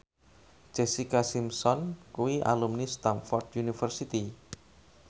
Jessica Simpson kuwi alumni Stamford University